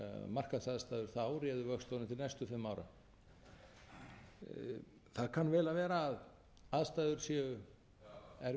markaðsaðstæður þá réðu vöxtunum til næstu fimm ára það kann vel að vera að aðstæður séu erfiðar fyrir útgáfu